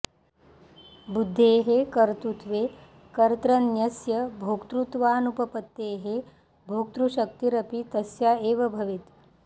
बुध्देः कर्तृत्वे कर्त्रन्यस्य भोक्तृत्वानुपपत्तेः भोक्तृशक्तिरपि तस्या एव भवेत्